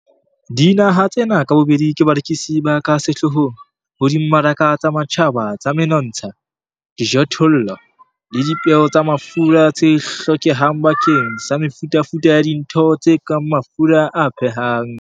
Dinaha tsena ka bobedi ke barekisi ba ka sehloohong ho dimmaraka tsa matjhaba tsa menontsha, dijothollo le dipeo tsa mafura tse hlokehang bakeng sa mefutafuta ya dintho tse kang mafura a phehang.